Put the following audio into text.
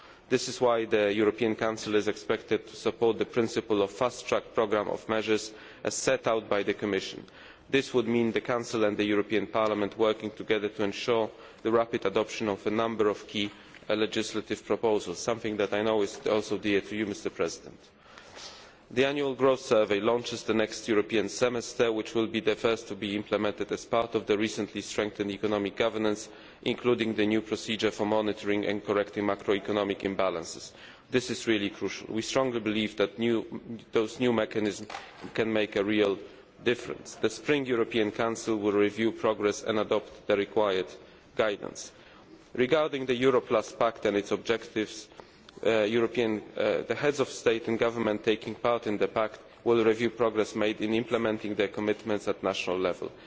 jobs and growth this is why the European Council is expected to support the principle of a fast track programme of measures, as set out by the Commission. This would mean the Council and the European Parliament working together to ensure the rapid adoption of a number of key legislative proposals, something which I know is also dear to you, Mr President. The Annual Growth Survey launches the next European semester, which will be the first to be implemented as part of the recently strengthened economic governance, including the new procedure for monitoring and correcting macroeconomic imbalances. This is really crucial. We strongly believe that those new mechanisms can make a real difference. The spring European Council will review progress and adopt the required guidance. Regarding the Euro Plus Pact and its objectives, the Heads of State and Government taking part in the Pact will review progress made in implementing the commitments